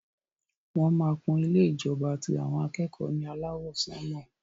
Wọn má kún ilé ìjọba ti àwọn akẹ́kọ̀ọ́ ní alawọ sanmọ.